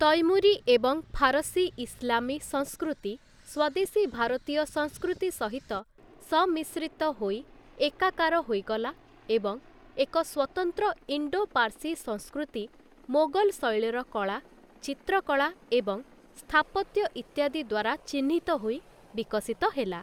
ତୈମୁରୀ ଏବଂ ଫାରସୀ ଇସ୍ଲାମୀ ସଂସ୍କୃତି ସ୍ୱଦେଶୀ ଭାରତୀୟ ସଂସ୍କୃତି ସହିତ ସମ୍ମିଶ୍ରିତ ହୋଇ ଏକାକାର ହୋଇଗଲା ଏବଂ ଏକ ସ୍ୱତନ୍ତ୍ର ଇଣ୍ଡୋ ପାର୍ସୀ ସଂସ୍କୃତି ମୋଗଲ୍‌ ଶୈଳୀର କଳା, ଚିତ୍ରକଳା ଏବଂ ସ୍ଥାପତ୍ୟ ଇତ୍ୟାଦି ଦ୍ୱାରା ଚିହ୍ନିତ ହୋଇ ବିକଶିତ ହେଲା ।